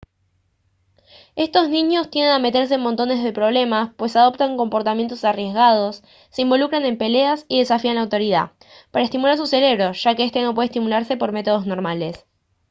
estos niños tienden a meterse en montones problemas pues «adoptan comportamientos arriesgados se involucran en peleas y desafían la autoridad» para estimular su cerebro ya que este no puede estimularse por métodos normales